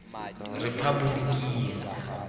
rephaboliking